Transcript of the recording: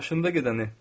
Maşında gedəni.